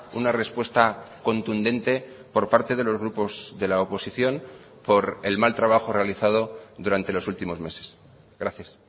una respuesta contundente por parte de los grupos de la oposición por el mal trabajo realizado durante los últimos meses gracias